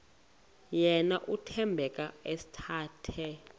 yena uthembeka esathe